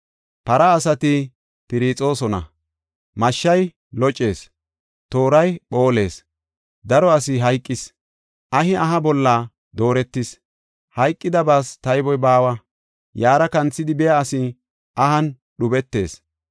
Para asati piirixoosona; mashshay locees; tooray phoolees. Daro asi hayqis! Ahi aha bolla dooretis; hayqidabaas tayboy baawa! Yaara kanthidi biya asi ahan dhubetees.